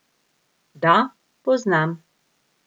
Da, poznam!